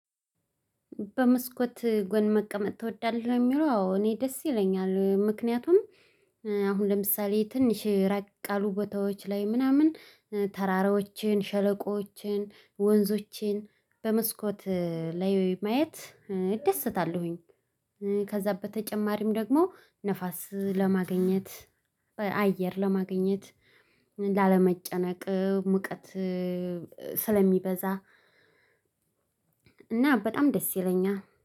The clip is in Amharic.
በመስኮት ጎን መቀመጥ ትወዳለህ የሚለው? አዎ እኔ ደስ ይለኛል ምክንያቱም አሁን ለምሳሌ ትንሽ ራቅ ያሉ ቦታዎች ላይ ምናምን ተራራዎችን ሸለቆዎችን ወንዞችን በመስኮት ላይ ማየት እደስታለሁኝ። ከዛ በተጨማሪም ደግሞ ንፋስ ለማግኘት አየር ለማግኘት ላለመጨነቅ ሙቀት ስለሚበዛ። እና በጣም ደስ ይለኛል